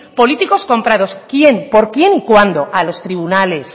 políticos comprados quién por quién y cuándo a los tribunales